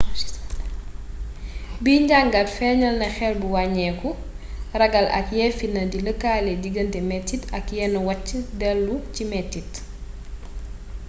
bi njangaat féñaal na xel bu wañekku ragal ak ye fitna di lëkkale digante metit ak yenn wacc delu ci metit